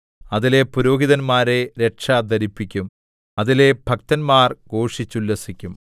അതിലെ പുരോഹിതന്മാരെ രക്ഷ ധരിപ്പിക്കും അതിലെ ഭക്തന്മാർ ഘോഷിച്ചുല്ലസിക്കും